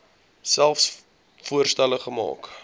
selfs voorstelle maak